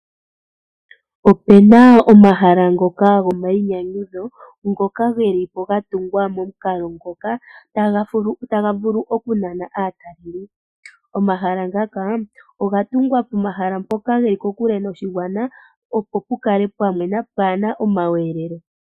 Opena omahala ngoka go mainyanyudho ngoka geli mo ga tungwa momukolo ngoka taga vulu oku nana aatalelipo. Omahala ngaka oga tungwa pomahala ngoka geli kokule no shigwana opo pu kale pwa mwena paana omaweelelo.